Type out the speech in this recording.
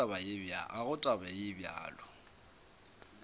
ga go taba ye bjalo